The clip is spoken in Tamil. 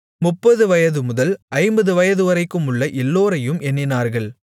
முப்பது வயது முதல் ஐம்பது வயதுவரைக்குமுள்ள எல்லோரையும் எண்ணினார்கள்